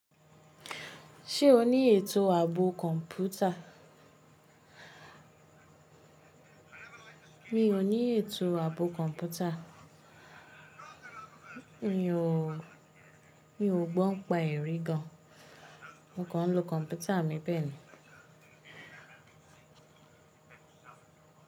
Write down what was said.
Ṣé o ní ètò ààbò kọ̀ǹpútà? Mi ò ní ètò ààbò kọ̀ǹpútà. Mi ò gbọ́n n pa ẹ̀rí gan. Mo kàn ń lo kọ̀ǹpútà mi bẹ́ẹ̀ ni.